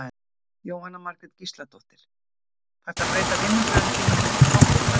Jóhanna Margrét Gísladóttir: Þarftu að breyta vinnubrögðum þínum á einhvern hátt í kjölfarið?